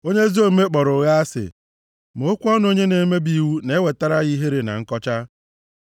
Onye ezi omume kpọrọ ụgha asị, ma okwu ọnụ onye na-emebi iwu na-ewetara ya ihere na nkọcha.